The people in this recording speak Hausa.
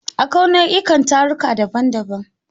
Akwai nau'ikan taruka daban-daban.